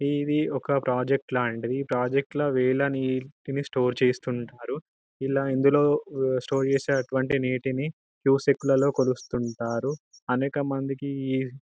ఇది ఒక ప్రాజెక్ట్ లాంటిది ఈ ప్రాజెక్ట్ లో నీళ్ళని దేని స్టోర్ చేస్తుంటారు ఇలా ఇందులో స్టోర్ చేసే టటువంటి నీటిని క్యూస్క్ లలో కొలుస్తుంటారు అనేక మందికి --